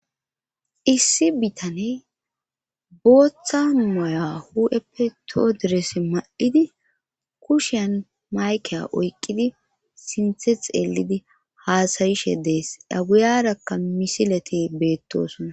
issi bitaney booththa moya hu7eppe todires ma7idi kushian mayke oykqidi sinthe xeelidi haasayishe dees aguyarakka misileti beettoosonna